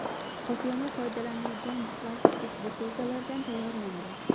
Qoplama foydalanilgan plastik butilkalardan tayyorlangan.